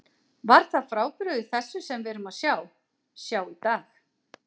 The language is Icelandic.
Var það frábrugðið þessu sem við erum að sjá, sjá í dag?